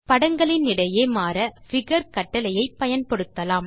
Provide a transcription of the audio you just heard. படங்களினிடையே மாற பிகர் கட்டளையை பயன்படுத்தலாம்